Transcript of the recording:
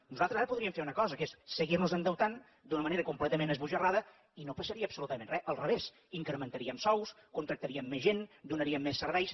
nosaltres ara podríem fer una cosa que és seguir nos endeutant d’una manera completament esbojarrada i no passaria absolutament res al revés incrementaríem sous contractaríem més gent donaríem més serveis